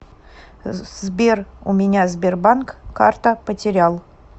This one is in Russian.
сбер у меня сбербанк карта потерял